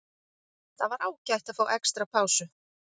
Það var ágætt að fá extra pásu.